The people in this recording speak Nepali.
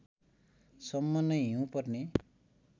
सम्म नै हिउँ पर्ने